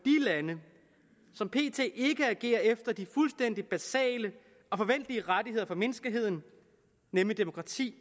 lande som pt ikke agerer efter de fuldstændig basale og forventelige rettigheder for menneskeheden nemlig demokrati